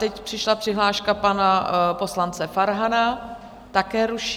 Teď přišla přihláška pana poslance Farhana, také ruší.